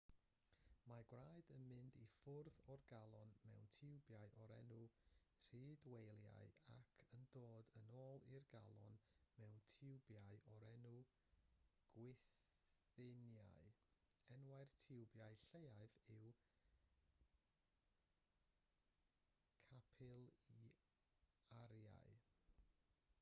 mae gwaed yn mynd i ffwrdd o'r galon mewn tiwbiau o'r enw rhydwelïau ac yn dod yn ôl i'r galon mewn tiwbiau o'r enw gwythiennau enwau'r tiwbiau lleiaf yw capilarïau